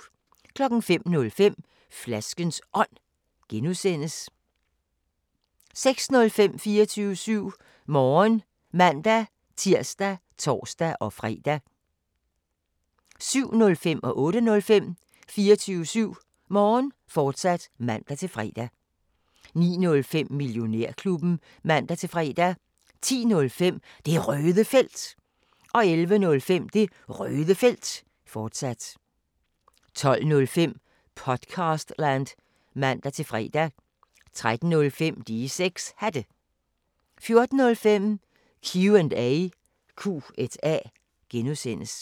05:05: Flaskens Ånd (G) 06:05: 24syv Morgen (man-tir og tor-fre) 07:05: 24syv Morgen, fortsat (man-fre) 08:05: 24syv Morgen, fortsat (man-fre) 09:05: Millionærklubben (man-fre) 10:05: Det Røde Felt 11:05: Det Røde Felt, fortsat 12:05: Podcastland (man-fre) 13:05: De 6 Hatte 14:05: Q&A (G)